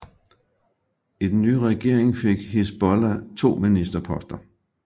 I den nye regering fik Hizbollah to ministerposter